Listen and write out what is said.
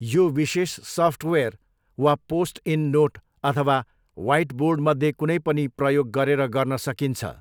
यो विशेष सफ्टवेयर वा पोस्ट इट नोट अथवा ह्वाइटबोर्डमध्ये कुनै पनि प्रयोग गरेर गर्न सकिन्छ।